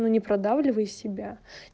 но не продавливай себя